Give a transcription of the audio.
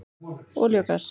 Olía og gas